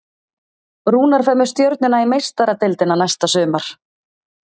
Rúnar fer með Stjörnuna í Meistaradeildina næsta sumar.